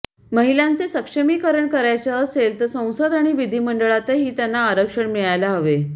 महिलांचे सक्षमीकरण करायचे असेल तर संसद आणि विधिमंडळातही त्यांना आरक्षण मिळायला हवे